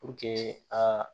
Puruke a